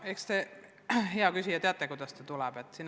Eks te, hea küsija, teate, kuidas see raha tuleb.